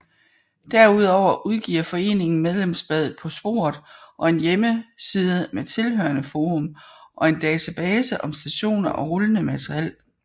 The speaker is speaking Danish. Derudover udgiver foreningen medlemsbladet På Sporet og en hjemmeside med tilhørende forum og en database om stationer og rullende materiel